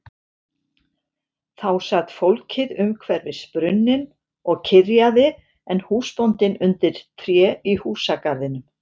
Þá sat fólkið umhverfis brunninn og kyrjaði en húsbóndinn undir tré í húsagarðinum.